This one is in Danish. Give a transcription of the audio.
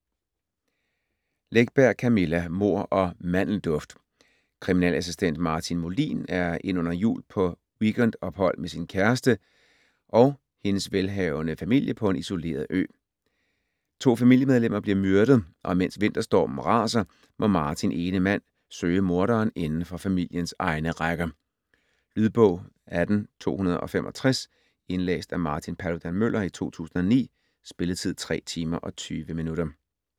Läckberg, Camilla: Mord og mandelduft Kriminalassistent Martin Molin er ind under jul på weekendophold med sin kæreste og hendes velhavende familie på en isoleret ø. To familiemedlemmer bliver myrdet, og mens vinterstormen raser, må Martin ene mand søge morderen inden for familiens egne rækker. Lydbog 18265 Indlæst af Martin Paludan-Müller, 2009. Spilletid: 3 timer, 20 minutter.